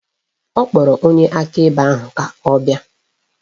Ọ kpọrọ onye akaebe ahụ ka ọ bịa